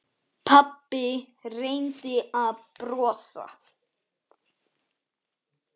Pabbi reyndi að brosa.